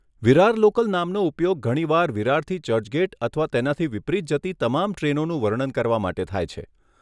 Virar local નામનો ઉપયોગ ઘણીવાર વિરારથી ચર્ચગેટ અથવા તેનાથી વિપરીત જતી તમામ ટ્રેનોનું વર્ણન કરવા માટે થાય છે.